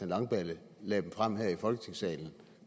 langballe lagde dem frem her i folketingssalen